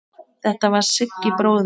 Þetta var Siggi bróðir.